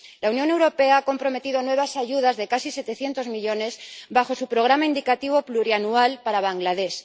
La Unión Europea ha comprometido nuevas ayudas de casi 700 millones bajo su Programa Indicativo Plurianual para Bangladés.